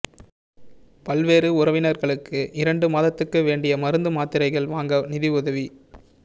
பல்வேறு உறவினர்களுக்கு இரண்டு மாதத்துக்கு வேண்டிய மருந்து மாத்திரைகள் வாங்க நிதியுதவி